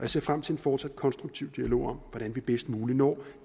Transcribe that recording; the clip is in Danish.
ser frem til en fortsat konstruktiv dialog om hvordan vi bedst muligt når